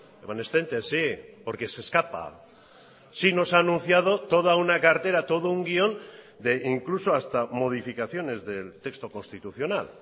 evanescente sí porque se escapa sí nos ha anunciado toda una cartera todo un guión de incluso hasta modificaciones del texto constitucional